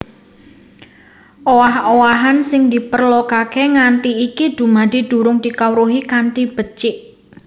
Owah owahan sing diperlokaké nganti iki dumadi durung dikawruhi kanthi becik